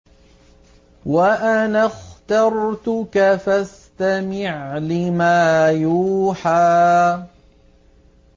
وَأَنَا اخْتَرْتُكَ فَاسْتَمِعْ لِمَا يُوحَىٰ